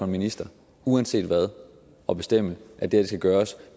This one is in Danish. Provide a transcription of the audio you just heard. minister uanset hvad at bestemme at det her skal gøres